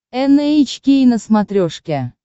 эн эйч кей на смотрешке